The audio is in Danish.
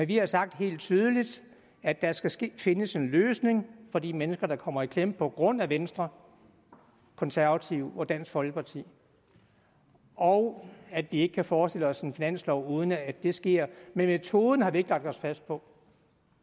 vi har sagt helt tydeligt at der skal skal findes en løsning for de mennesker der kommer i klemme på grund af venstre konservative og dansk folkeparti og at vi ikke kan forestille os en finanslov uden at det sker men metoden har vi ikke lagt os fast på